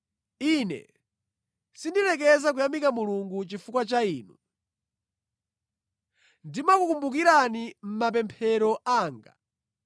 ine sindilekeza kuyamika Mulungu chifukwa cha inu. Ndimakukumbukirani mʼmapemphero anga.